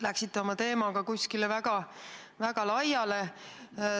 Läksite oma teemaga väga laiali.